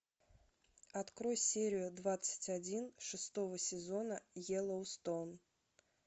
открой серию двадцать один шестого сезона йеллоустоун